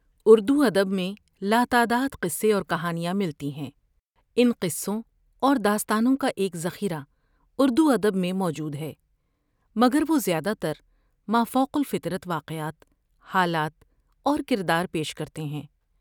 اردوادب میں لاتعداد قصے اور کہانیاں ملتی ہیں ۔ان قصوں اور داستانوں کا ایک ذخیرہ اردوادب میں موجود ہے مگر وہ زیادہ تر مافوق الفطرت واقعات ، حالات اور کردار پیش کرتے ہیں ۔